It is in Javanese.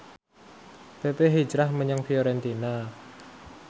pepe hijrah menyang Fiorentina